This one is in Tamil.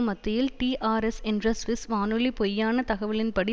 மத்தியில் டிஆர்எஸ் என்ற சுவிஸ் வானொலி பொய்யான தகவலின்படி